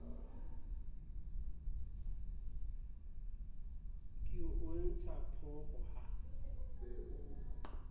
ke o antsha phooko ha